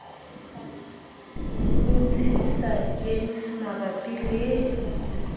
ho tsebisa gems mabapi le